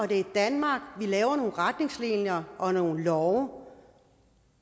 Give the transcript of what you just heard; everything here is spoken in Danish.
det er i danmark vi laver nogle retningslinjer og nogle love